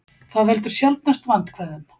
það veldur sjaldnast vandkvæðum